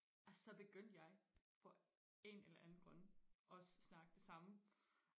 og så begyndte jeg for en eller anden grund også og snakke det samme